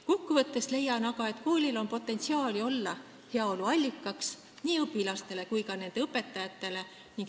Kokkuvõtteks leian aga, et koolil on potentsiaali olla heaolu allikaks nii õpilastele kui ka nende õpetajatele.